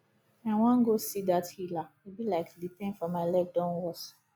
i wan go see dat healer e be like the pain for my leg don worse